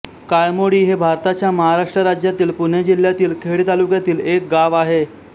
काळमोडी हे भारताच्या महाराष्ट्र राज्यातील पुणे जिल्ह्यातील खेड तालुक्यातील एक गाव आहे